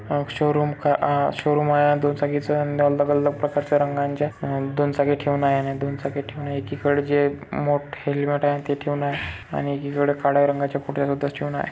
आ showroom का आ showroom आहे हा दुचाकीचा दोन अलग अलग प्रकारच्या रंगाच्या दोन चाकी ठेऊन आहेत दोन चाकी ठेऊन एकी कड़े जे मोठे हेलमेट आहे ते ठेऊन आहे आणि एकी कड़ काळ्या रंगाच्या फुट्या सुद्धा ठेवून आहे.